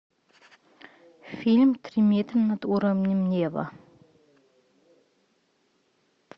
фильм три метра над уровнем неба